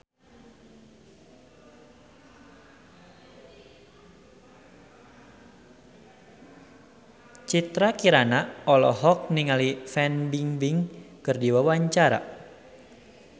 Citra Kirana olohok ningali Fan Bingbing keur diwawancara